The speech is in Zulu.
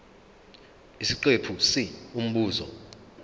isiqephu c umbuzo